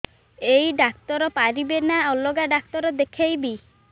ଏଇ ଡ଼ାକ୍ତର ପାରିବେ ନା ଅଲଗା ଡ଼ାକ୍ତର ଦେଖେଇବି